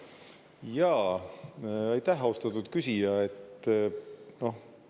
Aitäh, austatud küsija!